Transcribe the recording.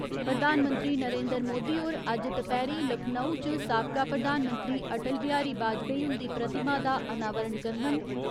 प्रधानमंत्री नरेन्द्र मोदी होर अज्ज दपैह्‌रीं लखनऊ च साबका प्रधानमंत्री अटल बिहारी बाजपाई उन्दी प्रतिमा दा अनावरण करङन।